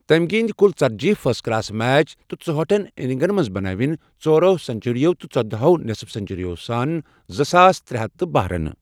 تٔمۍ گِندۍ کُل ژتجی فرسٹ کلاس میچ تہٕ ژُہٲٹھن اِننٛگن منز بنٲوِن ژورٚو سنچریو تہٕ ژۄداہ ہو نصف سنچریوں سٕتۍ زٕ ساس ترٛےٚ ہتھ تہٕ بہہ رنہٕ۔